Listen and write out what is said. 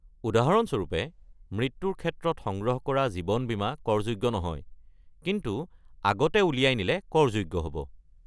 উদাহৰণস্বৰূপে, মৃত্যুৰ ক্ষেত্ৰত সংগ্ৰহ কৰা জীৱন বীমা কৰযোগ্য নহয়, কিন্তু আগতে উলিয়াই নিলে কৰযোগ্য হ'ব।